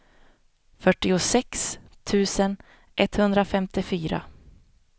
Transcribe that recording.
fyrtiosex tusen etthundrafemtiofyra